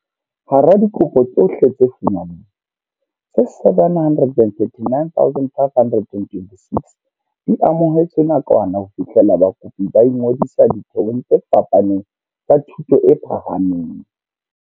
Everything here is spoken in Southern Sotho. Hara dikopo tsohle tse fumanweng, tse 739 526 di amohetswe nakwana ho fihlela bakopi ba ingodisa ditheong tse fapaneng tsa thuto e phahameng.